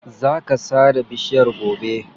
Za ka sare bishiyar gobe.